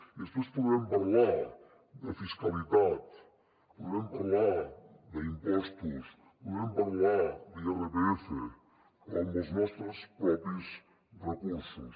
i després podrem parlar de fiscalitat podrem parlar d’impostos podrem parlar d’irpf però amb els nostres propis recursos